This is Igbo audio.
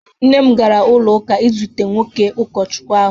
Nne m gara ụlọ ụka izute nwoke ụkọchukwu ahụ